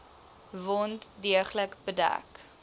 wond deeglik bedek